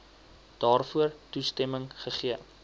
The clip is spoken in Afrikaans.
daarvoor toestemming gegee